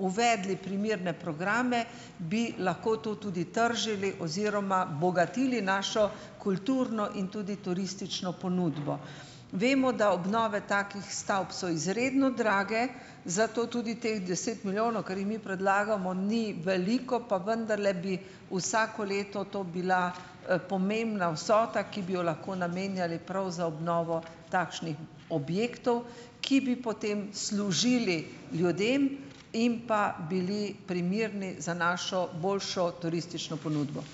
uvedli primerne programe, bi lahko to tudi tržili oziroma bogatili našo kulturno in tudi turistično ponudbo. Vemo, da obnove takih stavb so izredno drage, zato tudi teh deset milijonov, kar jih mi predlagamo, ni veliko, pa vendarle bi vsako leto to bila, pomembna vsota, ki bi jo lahko namenjali prav za obnovo takšnih objektov, ki bi potem služili ljudem in pa bili primerni za našo boljšo turistično ponudbo.